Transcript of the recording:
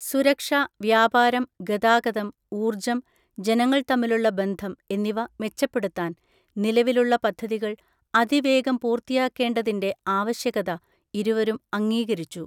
സുരക്ഷ, വ്യാപാരം, ഗതാഗതം, ഊർജ്ജം ജനങ്ങൾ തമ്മിലുള്ള ബന്ധം എന്നിവ മെച്ചപ്പെടുത്താൻ നിലവിലുള്ള പദ്ധതികൾ അതിവേഗം പൂർത്തിയാക്കേണ്ടതിൻ്റെ ആവശ്യകത ഇരുവരും അംഗീകരിച്ചു.